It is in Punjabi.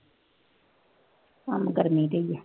ਕੰਮ ਕਰਦੀ ਸੀਗੀ